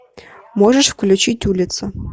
можешь включить улица